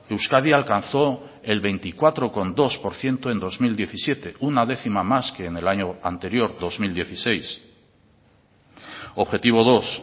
euskadi alcanzó el veinticuatro coma dos por ciento en dos mil diecisiete una décima más que en el año anterior dos mil dieciséis objetivo dos